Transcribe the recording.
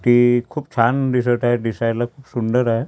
ते खूप छान दिसत आहे दिसायला खूप सुंदर आहे.